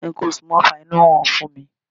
Nǹkan oṣù máa ń fa inú rírun fún mi.